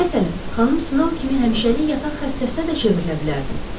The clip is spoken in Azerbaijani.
Məsələn, Xanım Snow kimi həmişəlik yataq xəstəsinə də çevrilə bilərdim.